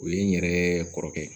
O ye n yɛrɛɛ kɔrɔkɛ ye